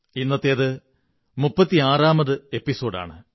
ഇന്നത്തേത് മുപ്പതി ആറാമത് എപിസോഡ് ആണ്